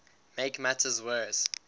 make matters worse